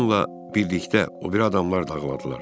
Onunla birlikdə o biri adamlar da ağladılar.